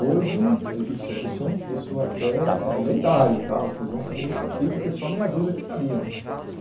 Hoje, isso isso é um isso até é lendário tá, vocês vão saber isso aqui, porque só meia dúzia que sabiam.